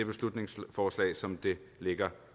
beslutningsforslag som det ligger